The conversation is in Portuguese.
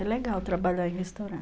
É legal trabalhar em restauran